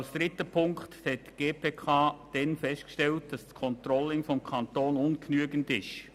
Als dritten Punkt hat die GPK damals festgestellt, dass das Controlling des Kantons ungenügend ist.